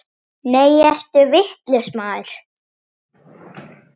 Nei, ertu vitlaus maður!